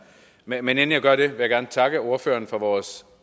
men inden jeg gør det vil jeg gerne takke ordføreren for vores